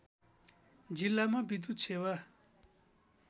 जिल्लामा विद्युत सेवा